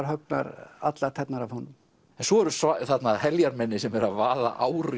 höggnar allar tærnar af honum en svo eru þarna heljarmenni sem eru að vaða ár